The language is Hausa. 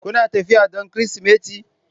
Kuna tafiya don Kirsimeti?